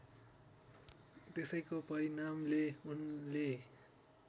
त्यसैको परिणामले उनले